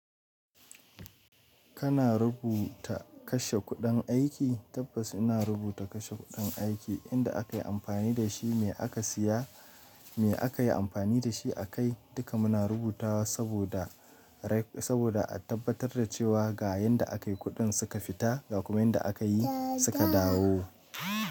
Kana rubuta kashe kuɗin aiki? Tabbas ina rubuta kashe kuɗin aiki inda aka yi amfani da shi, me aka siya, me aka yi amfani da shi a kai. Duka muna rubuta saboda, saboda a tabbatar da cewa ga yanda a kai kuɗin suka fita ga kuma yanda aka yi suka dawo.